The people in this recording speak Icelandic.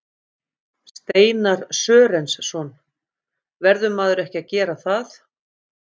Steinar Sörensson: Verður maður ekki að gera það?